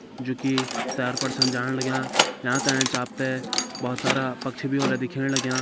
जु कि सैर पर छन जाण लग्यां यांका एंच आप तें बहोत सारा पक्षी भी होला दिखेण लाग्यां।